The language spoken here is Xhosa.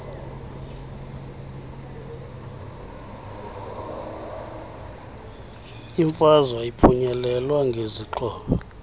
imfazwe ayiphunyelelwa ngezixhobo